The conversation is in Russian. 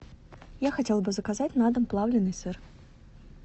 я хотела бы заказать на дом плавленный сыр